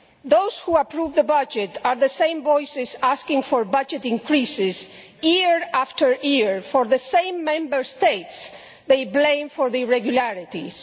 Those who approve the budget are the same voices asking for budget increases, year after year, for the same Member States they blame for the irregularities.